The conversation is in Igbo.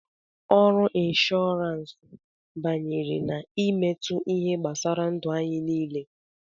Ọrụ Inshọransi banyere na-emetụ ihe gbasara ndu anyị niile.